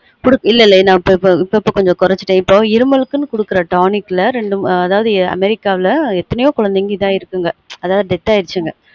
இல்லல இப்ப இப்ப கொஞ்சம் குறைச்சுட்டன் இப்ப இருமலுக்குனு குடுக்குற tonic ல ரெண்டு அதாவது america வுல எத்தணயொ குழந்தைங்க இதாயிருக்குங்க அதாவது death ஆயிருச்சுங்க